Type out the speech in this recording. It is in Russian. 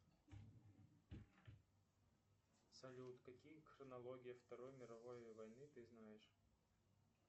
салют какие хронологии второй мировой войны ты знаешь